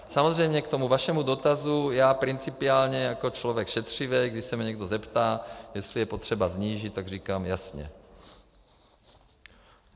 Samozřejmě k tomu vašemu dotazu - já principiálně jako člověk šetřivý, když se mě někdo zeptá, jestli je potřeba snížit, tak říkám jasně.